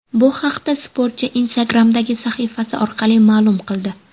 Bu haqda sportchi Instagram’dagi sahifasi orqali ma’lum qildi .